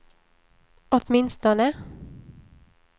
åtminstone